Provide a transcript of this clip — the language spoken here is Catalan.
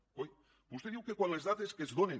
coi vostè diu que quan les dades que es donen